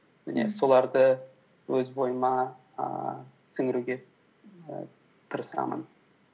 және соларды өз бойыма ііі сіңіруге і тырысамын